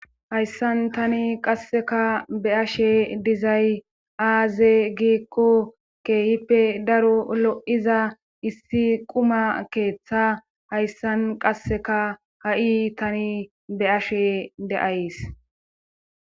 Hayssan tani qasseka be ashe dizay aaze giikqo keehippe daro lo7iza issi quma keeththa hayssan qasseka ha7i tani be ashe de7ays.